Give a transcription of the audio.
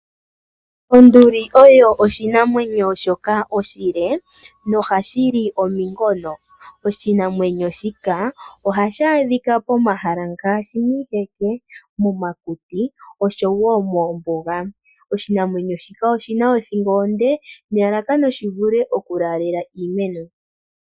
Onduli oyo oshinamwenyo shoka oshile nohashi li omunkono. Oshinamwenyo shika ohashi adhika pomahala ngaashi miiheke, momakuti osho wo moombuga. Oshinamwenyo shika oshi na othingo onde nelalakano shi vule okulaalela iimeno.